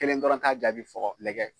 Kelen dɔrɔn ta jaabi fɔ ka lagɛ.